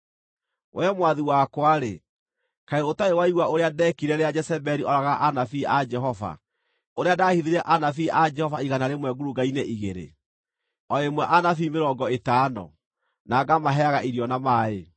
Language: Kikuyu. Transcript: Wee mwathi wakwa-rĩ, kaĩ ũtarĩ waigua ũrĩa ndeekire rĩrĩa Jezebeli ooragaga anabii a Jehova, ũrĩa ndaahithire anabii a Jehova igana rĩmwe ngurunga-inĩ igĩrĩ, o ĩmwe anabii mĩrongo ĩtano, na ngamaheaga irio na maaĩ?